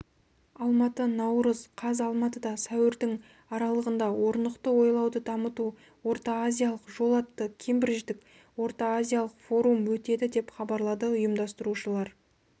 алматы наурыз қаз алматыда сәуірдің аралығында орнықты ойлауды дамыту орта-азиялық жол атты кембридждік орта-азиялық форум өтеді деп хабарлады ұйымдастырушылар